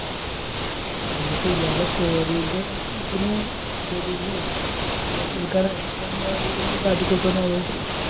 ഇന്നിപ്പോ ഇയാൾ കേറിയെന്റെ ഇതിന് പോലീസിനെ കേസുകൊടുക്കാൻ വേണ്ടിട്ട് എന്തേലും കാട്ടികൂട്ടുവോ ആവോ